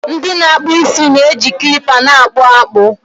ndị na-akpụ isi na-eji kilipa na-akpụ akpụ